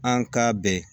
An ka bɛn